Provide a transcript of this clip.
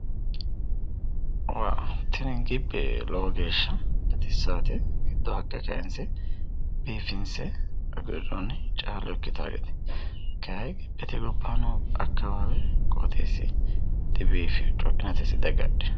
wah tini gibbe lowo geeshsha baxissanno giddoo haqqe kayiinse biifinsoonnite kayi gibbete gobbaanni noo qooxeessi dibiifanno isi coinatese diagadhino.